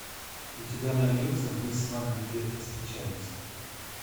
у тебя найдется мы с вами где то встречались